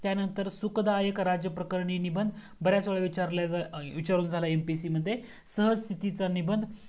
त्यानंतर सुखदाय राजप्रकरणी निबंध बर्‍याच वेळा विचारुण झालाय MPSC मध्ये सहचूखीचा निबंध